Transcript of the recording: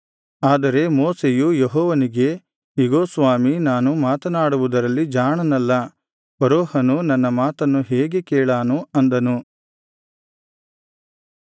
ಆದರೆ ಮೋಶೆಯು ಯೆಹೋವನಿಗೆ ಇಗೋ ಸ್ವಾಮಿ ನಾನು ಮಾತನಾಡುವುದರಲ್ಲಿ ಜಾಣನಲ್ಲ ಫರೋಹನು ನನ್ನ ಮಾತನ್ನು ಹೇಗೆ ಕೇಳಾನು ಅಂದನು